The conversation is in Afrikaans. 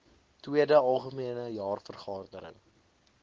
tweede algemene jaarvergadering